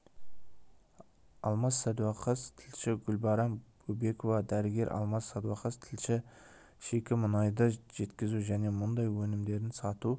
алмас сәдуақас тілші гүлбарам бөбекова дәрігер алмас сәдуақас тілші шикі мұнайды жеткізу және мұндай өнімдерін сату